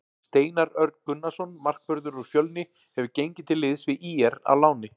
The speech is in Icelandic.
Steinar Örn Gunnarsson markvörður úr Fjölni hefur gengið til liðs við ÍR á láni.